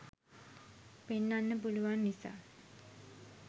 පෙන්නන්න පුළුවන් නිසා.